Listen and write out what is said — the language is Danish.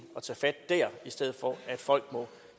at tage fat dér i stedet for at folk